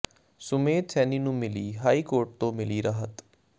ਸੁਮੇਧ ਸੈਣੀ ਨੂੰ ਮਿਲੀ high court ਤੋ ਮਿਲੀ ਰਾਹਤ